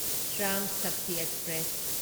Shram Shakti express